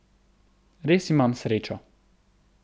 Res imam srečo.